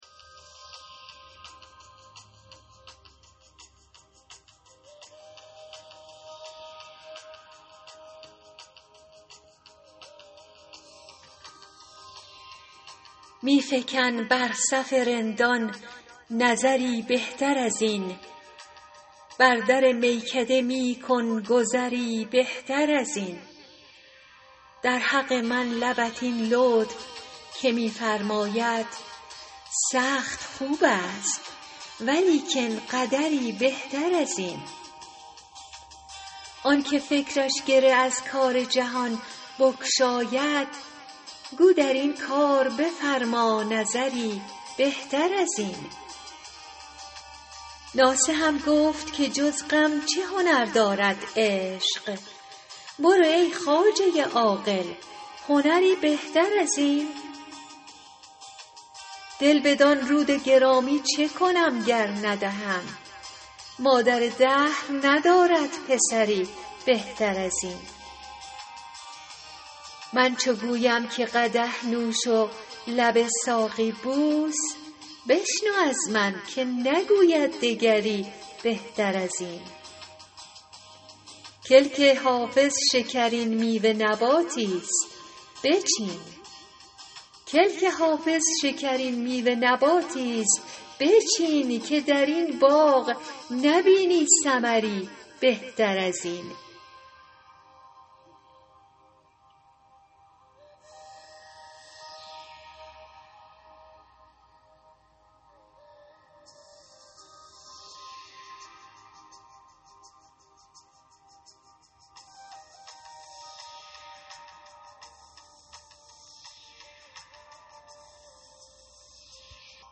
می فکن بر صف رندان نظری بهتر از این بر در میکده می کن گذری بهتر از این در حق من لبت این لطف که می فرماید سخت خوب است ولیکن قدری بهتر از این آن که فکرش گره از کار جهان بگشاید گو در این کار بفرما نظری بهتر از این ناصحم گفت که جز غم چه هنر دارد عشق برو ای خواجه عاقل هنری بهتر از این دل بدان رود گرامی چه کنم گر ندهم مادر دهر ندارد پسری بهتر از این من چو گویم که قدح نوش و لب ساقی بوس بشنو از من که نگوید دگری بهتر از این کلک حافظ شکرین میوه نباتی ست بچین که در این باغ نبینی ثمری بهتر از این